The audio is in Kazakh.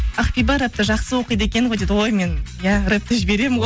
ақбиба рэпті жақсы оқиды екен ғой дейді ғой ой мен иә рэпті жіберемін ғой